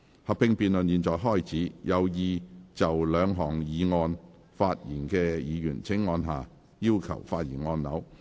合併辯論現在開始，有意就這兩項議案發言的議員請按下"要求發言"按鈕。